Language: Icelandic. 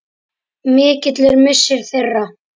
Mikill er missir þeirra.